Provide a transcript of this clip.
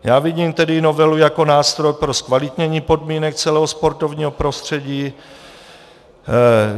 Já vidím tedy novelu jako nástroj pro zkvalitnění podmínek celého sportovního prostředí.